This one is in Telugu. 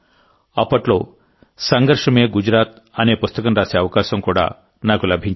అప్పట్లో సంఘర్ష్ మే గుజరాత్ అనే పుస్తకం రాసే అవకాశం కూడా నాకు లభించింది